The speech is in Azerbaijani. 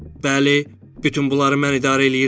Bəli, bütün bunları mən idarə eləyirəm.